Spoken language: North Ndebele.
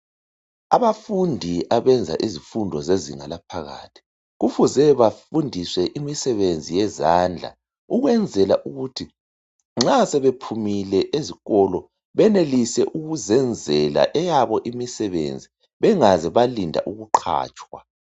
Abafundi abenza izifundo zezinga laphakathi, kufuze bafundiswe imisebenzi yezandla ukwenzela ukuthi nxa sebephumile esikolo benelise ukuzenzela eyabo imisebenzi bengaze balinda ukuqatshwa.